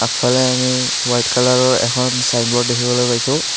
আগফালে আমি হোৱাইট কালাৰৰ এখন চাইনব'ৰ্ড দেখিবলৈ পাইছোঁ।